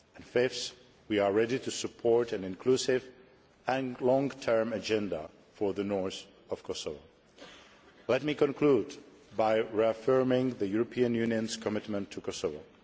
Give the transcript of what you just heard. Fifth, we are ready to support an inclusive and long term agenda for the north of Kosovo. Let me conclude by reaffirming the European Union's commitment to Kosovo.